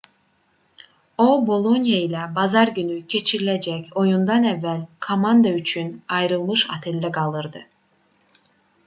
o boloniya ilə bazar günü keçiriləcək oyundan əvvəl komanda üçün ayrılmış oteldə qalırdı